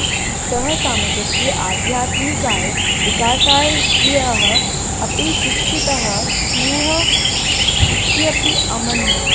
सः समाजस्य आध्यात्मिकाय विकासाय स्त्रियः अपि शिक्षिताः स्युः इत्यपि अमन्यत